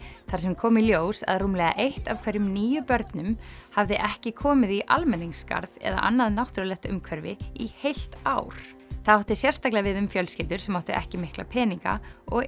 þar sem kom í ljós að rúmlega eitt af hverjum níu börnum í hafði ekki komið í almenningsgarð eða annað náttúrulegt umhverfi í heilt ár það átti sérstaklega við um fjölskyldur sem áttu ekki mikla peninga og